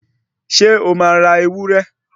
Ṣé o máa ra ewúré